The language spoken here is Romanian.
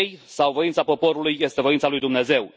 sau voința poporului este voința lui Dumnezeu.